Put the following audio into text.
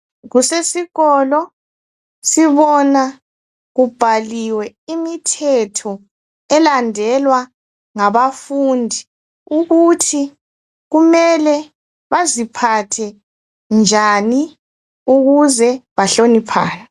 Kusesikolo sibona kubhaliwe imithetho elandelwa ngabafundi ukuthi kumele baziphathe njani ukuze bahloniphane.